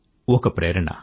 ఒక ప్రేరణ